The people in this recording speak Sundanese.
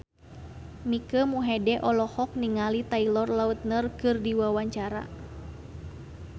Mike Mohede olohok ningali Taylor Lautner keur diwawancara